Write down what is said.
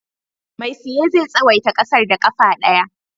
Mai siye zai tsawaita ƙasar da ƙafa ɗaya.